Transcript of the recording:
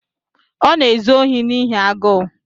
Ọ na-ezu ohi n’ihi agụụ.